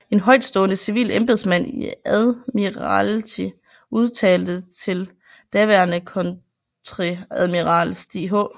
En højtstående civil embedsmand i Admiralty udtalte til daværende kontreadmiral Stig H